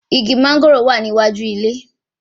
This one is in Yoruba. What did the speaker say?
Igi mángòrò wà ní iwájú ilé